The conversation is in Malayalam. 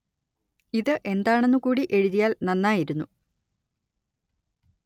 ഇത് എന്താണെന്ന് കൂടി എഴുതിയാല്‍ നന്നായിരുന്നു